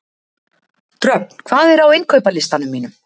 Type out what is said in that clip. Dröfn, hvað er á innkaupalistanum mínum?